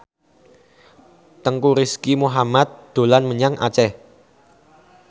Teuku Rizky Muhammad dolan menyang Aceh